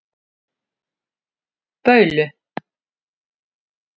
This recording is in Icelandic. Baulu